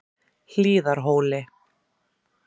Hlíðarhóli